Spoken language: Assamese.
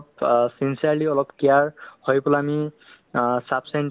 লক্ষ্য ৰাখাতো উচিত বুলি ভাবো to আপুনি সেইটো বিষয়ে মানে কি ভাবে মানে